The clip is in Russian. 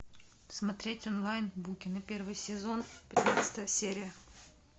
смотреть онлайн букины первый сезон пятнадцатая серия